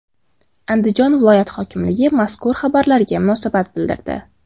Andijon viloyat hokimligi mazkur xabarlarga munosabat bildirdi .